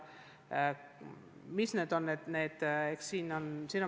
See aitaks neid noori paremini meie ühiskonnaga siduda.